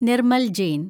Nirmal Jain